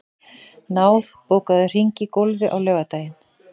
Náð, bókaðu hring í golf á laugardaginn.